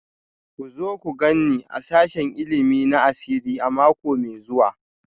Ku zo ku gan ni a sashen ilimi na asiri a mako mai zuwa